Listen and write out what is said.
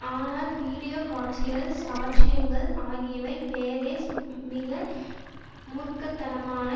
ஆனால் வீடியோ காட்சிகள் சாட்சியங்கள் ஆகியவை பெரெஸ் மிக மூர்க்க தனமான